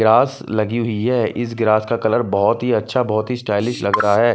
Grass लगी हुई है। इस ग्रास का कलर बहोत ही अच्छा बहोत ही स्टाइलिश लग रहा है।